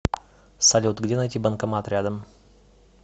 салют где найти банкомат рядом